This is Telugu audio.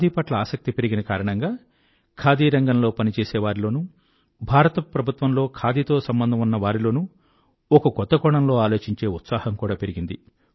ఖాదీ పట్ల ఆసక్తి పెరిగిన కారణంగా ఖాదీ రంగంలో పనిచేసేవారిలోనూ భారత ప్రభుత్వం లో ఖాదీతో సంబంధం ఉన్న వారిలోనూ ఒక కొత్త కోణంలో ఆలోచించే ఉత్సాహం కూడా పెరిగింది